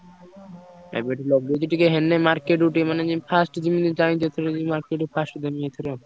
ଏବେଠୁ ଲଗେଇଛି ଟିକେ ହେଲେ market କୁ ଟିକେ ମାନେ ଯାଇଁ first ଯିବି। market କୁ first ଯିବି ଏଥର।